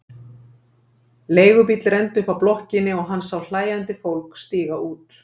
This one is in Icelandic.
Leigubíll renndi upp að blokkinni og hann sá hlæjandi fólk stíga út.